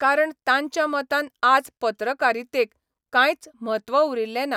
कारण तांच्या मतान आज पत्रकारितेक कांयच म्हत्व उरिल्ले ना.